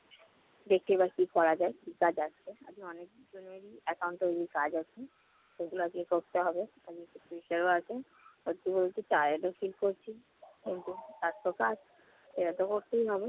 দেখি এবার কি করা যায়, কি কাজ আছে। আমি অনেকক্ষণ account তৈরির কাজ আছে, সেগুলো আজ গিয়ে করতে হবে। একটু আধটু tired ও feel করছি, কিন্তু কাজতো কাজ, সেটাতে করতেই হবে।